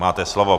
Máte slovo.